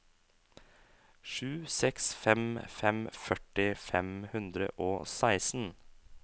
sju seks fem fem førti fem hundre og seksten